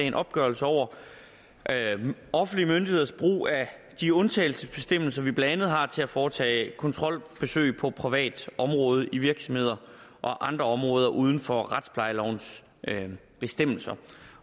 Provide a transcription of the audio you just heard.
en opgørelse over offentlige myndigheders brug af de undtagelsesbestemmelser vi blandt andet har til at foretage kontrolbesøg på privat område i virksomheder og andre områder uden for retsplejelovens bestemmelser